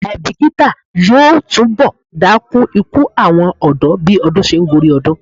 Àìbíkítà yóò túnbọ̀ dákún ikú àwọn ọ̀dọ́ bí ọdún se ń gorí ọdún.